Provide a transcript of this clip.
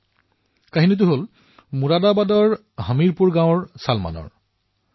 এই কাহিনী হল মুৰাদাবাদৰ হামীৰপুৰ গাঁৱৰ বাসিন্দা চলমানৰ